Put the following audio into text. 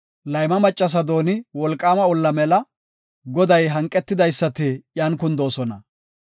Layma maccasa dooni wolqaama olla mela; Goday hanqetidaysati iyan kundoosona.